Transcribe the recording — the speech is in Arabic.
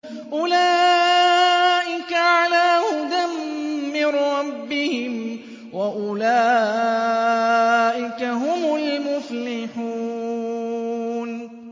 أُولَٰئِكَ عَلَىٰ هُدًى مِّن رَّبِّهِمْ ۖ وَأُولَٰئِكَ هُمُ الْمُفْلِحُونَ